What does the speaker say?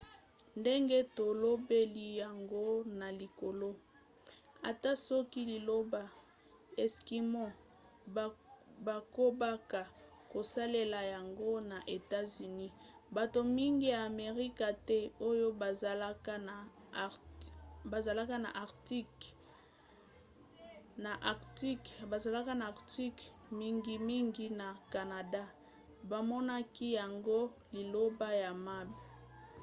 ndenge tolobeli yango na likolo ata soki liloba eskimo bakobaka kosalela yango na etats-unis bato mingi ya amerika te oyo bazalaka na arctique mingimingi na canada bamonaki yango liloba ya mabe